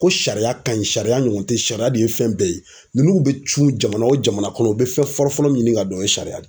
Ko sariya ka ɲi sariya ɲɔgɔn tɛ sariya de ye fɛn bɛɛ ye ninnu bɛ tunun jamana o jamana kɔnɔ u bɛ fɛn fɔlɔfɔlɔ min ɲini ka dɔn o ye sariya de ye.